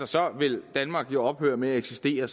så ville danmark jo ophøre med at eksistere